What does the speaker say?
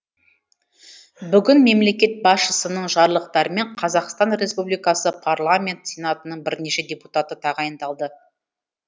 бүгін мемлекет басшысының жарлықтарымен қазақстан республикасы парламенті сенатының бірнеше депутаты тағайындалды